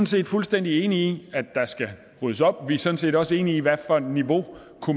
set fuldstændig enige i at der skal ryddes op vi er sådan set også enige i hvad for et niveau